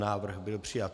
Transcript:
Návrh byl přijat.